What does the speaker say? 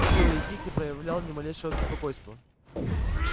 никто из них не проявлял ни малейшего беспокойства